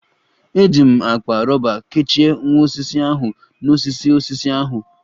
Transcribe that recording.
Eji m akpa rọba kechie nwa osisi ahu n'osisi osisi ahụ